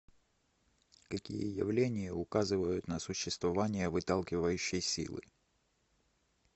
какие явления указывают на существование выталкивающей силы